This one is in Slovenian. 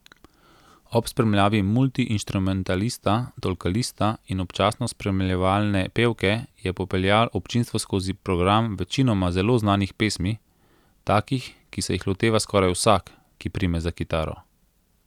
Ob spremljavi multiinštrumentalista, tolkalista in občasno spremljevalne pevke je popeljal občinstvo skozi program večinoma zelo znanih pesmi, takih ki se jih loteva skoraj vsak, ki prime za kitaro.